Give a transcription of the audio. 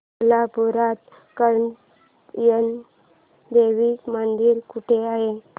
कोल्हापूरात कात्यायनी देवी मंदिर कुठे आहे